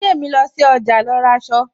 Bidemi lọ sí ọjà lọ ra aṣọ